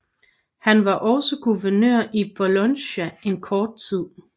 Han var også guvernør i Bologna en kort tid